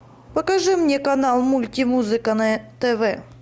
покажи мне канал мультимузыка на тв